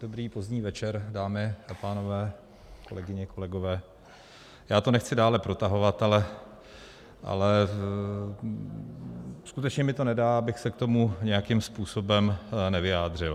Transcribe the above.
Dobrý pozdní večer, dámy a pánové, kolegyně, kolegové, já to nechci dále protahovat, ale skutečně mi to nedá, abych se k tomu nějakým způsobem nevyjádřil.